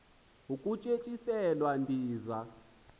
ukutye tyiselwa ndiza